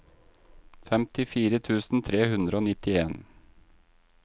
femtifire tusen tre hundre og nittien